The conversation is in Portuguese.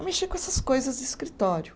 A mexer com essas coisas de escritório.